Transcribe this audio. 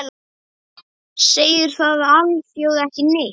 Segir það alþjóð ekki neitt?